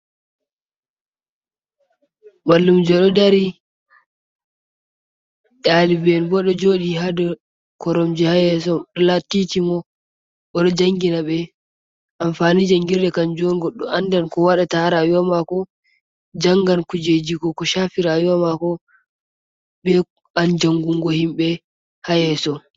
Mallumje do ɗari ɗaliben bo ɗo jooɗi ha daw koromji ha yeso. Pulattijomon boo jangina be. Amfanijen gangirɗe kanjon go ɗo andan ko wadata harawiwa mako. Jangan kujeji go ko shafi rawiwa mako. be an jangungo himbe ha yeso.